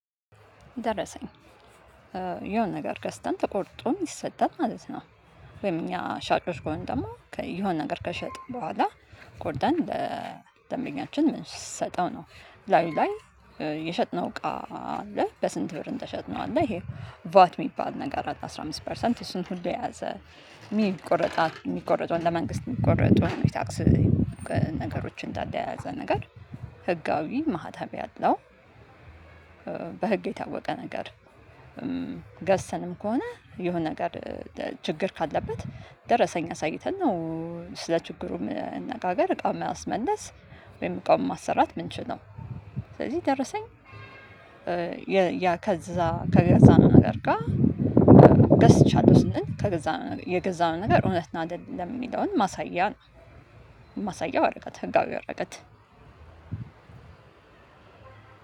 ደረሰኝ የሆነ ነገር ገዝተን ተቆር ይሰጣል ማለት ነው። ወይም እኛ ሻጮች ከሆንን ደግሞ የሆነ ነገር ከሸጠን በኋላ። ቆርጠን ለደምበኛችን የምንሰጠው ነው ላዩ ላይ የሸጥነው ቃ አለ በስንት ብር እንደሸጥነው አለ ይሄ ቫት የሚባል ነገር አለ አስራ አምስት ፐርሰንት እሱን ሁሉ የያዘ የሚቆረጥ የሚቆርጠውን ለመንግስት የሚቆርጠውን ታክስ። ነገሮችን እንዳለ የያዘ ነገር ህጋዊ ማህተብ ያለው። በህግ የታወቀ ነገር። ገዝተንም ከሆነ የሆነ ነገር ችግር ካለበት ደረሰኝ አሳይተን ነው። ስለ ችግሩ መነጋገር እቃውን የማስመለስ ወይም እቃውን ማሰራት የምንችለው። ስለዚህ ደረሰኝ ያ ከዛ ከገዛው ነገር ጋር ገዝቻለሁ ስንል ከገዛነው የገዛነው ነገር እውነት አይደለም የሚለውን። ማሳያ ማሳያው ህነጋዊ ወረቀት።